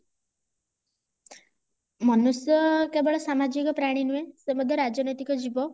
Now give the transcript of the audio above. ମନୁଷ୍ୟ କେବଳ ସାମାଜିକ ପ୍ରାଣୀ ନୁହେଁ ସେ ମଧ୍ୟ ରାଜନୈତିକ ଜୀବ